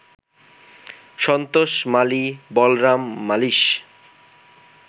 Santosh Mali, Balram মালীস